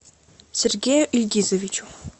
сергею ильгизовичу